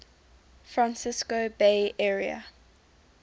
francisco bay area